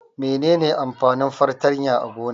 Mene ne amfanin fartanya a gona?